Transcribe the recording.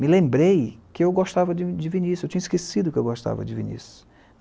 Me lembrei que eu gostava de Vinícius, eu tinha esquecido que eu gostava de Vinícius.